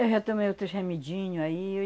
Eu já tomei outros remedinho aí.